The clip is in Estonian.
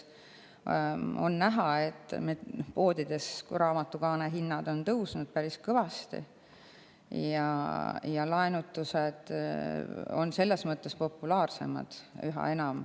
On näha, et raamatute kaanehinnad poodides on päris kõvasti tõusnud ja laenutused on seetõttu üha populaarsemad.